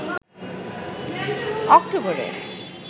অক্টোবরে